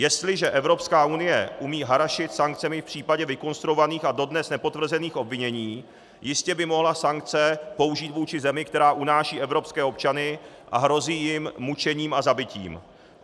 Jestliže Evropská unie umí harašit sankcemi v případě vykonstruovaných a dodnes nepotvrzených obvinění, jistě by mohla sankce použít vůči zemi, která unáší evropské občany a hrozí jim mučením a zabitím.